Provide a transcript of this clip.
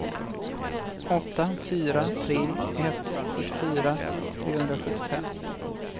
åtta fyra tre ett fyrtiofyra trehundrasjuttiofem